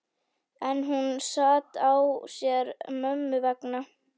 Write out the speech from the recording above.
En hún sat á sér mömmu vegna.